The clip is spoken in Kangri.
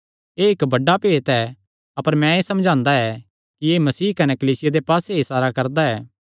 एह़ इक्क बड्डा भेत ऐ अपर मैं एह़ समझदा ऐ कि एह़ मसीह कने कलीसिया दे पास्से इसारा करदा ऐ